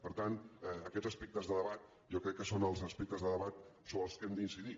per tant aquests aspectes de debat jo crec que són els aspectes de debat sobre els quals hem d’incidir